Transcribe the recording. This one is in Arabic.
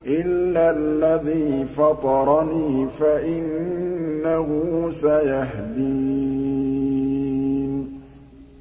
إِلَّا الَّذِي فَطَرَنِي فَإِنَّهُ سَيَهْدِينِ